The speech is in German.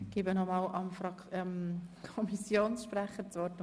Ich gebe das Wort nochmals dem Kommissionspräsidenten.